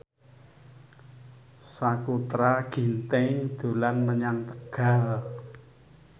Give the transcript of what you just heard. Sakutra Ginting dolan menyang Tegal